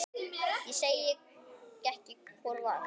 Segi ekki hvor vann.